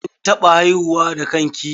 KIn taɓa haihuwa da kan ki?